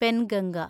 Penganga